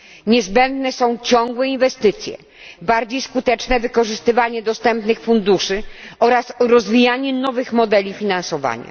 Niezbędne są ciągłe inwestycje, bardziej skuteczne wykorzystywanie dostępnych funduszy oraz rozwijanie nowych modeli finansowania.